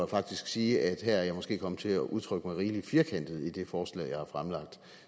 faktisk sige at her er jeg måske kommet til at udtrykke mig rigelig firkantet i det forslag jeg har fremsat